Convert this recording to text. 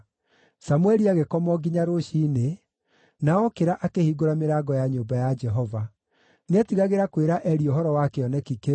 Samũeli agĩkoma o nginya rũciinĩ, na okĩra akĩhingũra mĩrango ya nyũmba ya Jehova. Nĩetigagĩra kwĩra Eli ũhoro wa kĩoneki kĩu,